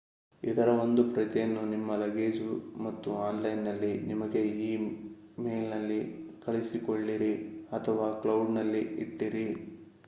ಇದರ ಒಂದು ಪ್ರತಿಯನ್ನು ನಿಮ್ಮ ಲಗೇಜು ಮತ್ತು ಆನ್‌ಲೈನ್‍‌ನಲ್ಲಿ ನಿಮಗೇ ಈ ಮೇಲ್‍‌ನಲ್ಲಿ ಕಳಿಸಿಕೊಳ್ಳಿರಿ ಅಥವಾ ಕ್ಲೌಡ್"ನಲ್ಲಿ ಇಟ್ಟಿರಿ